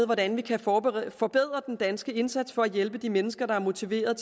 hvordan vi kan forbedre forbedre den danske indsats for at hjælpe de mennesker der er motiverede